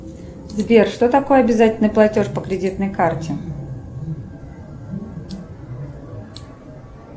сбер что такое обязательный платеж по кредитной карте